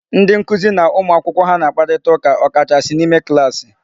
Ndị nkụzi na ụmụ akwụkwọ ha na-akparịta ụka ọ kachasị n'ime klaasị.